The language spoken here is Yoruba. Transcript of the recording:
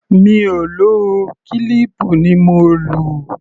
Mi ò lò ó, kílíìpù ni mo lò.